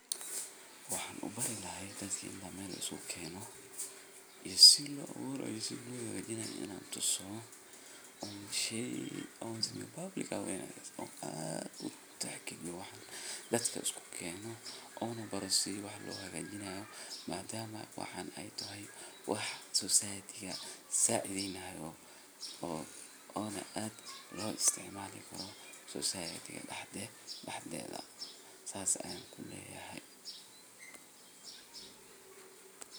Waxan ubari lahay dadka inta meel iskugukeeno iyo si loo aburaay iyo si loo hagajinay inaan tuso oon shey o sameyo public ah oo aad utixgaliyo dadka iskukeeno oona baro si wax loohagajinayo maadama waxan ey tahay wax society ga sacidheynayo oona aad looisticmali karo society ga daxdeedha saas ayaan kuleeyahay.